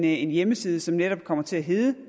en hjemmeside som netop kommer til at hedde